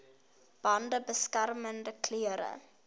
bande beskermende klere